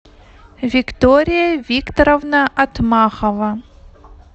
виктория викторовна отмахова